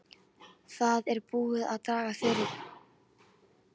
Það er búið að draga tjaldið fyrir.